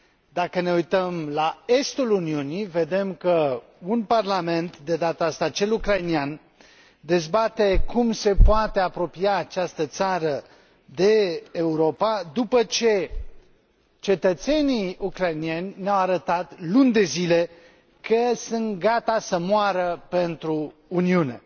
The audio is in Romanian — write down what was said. Dacă ne uităm la estul Uniunii, vedem că un parlament, de data aceasta cel ucraininean, dezbate cum se poate apropia această țară de Europa, după ce cetățenii ucrainieni ne au arătat luni de zile că sunt gata să moară pentru Uniune.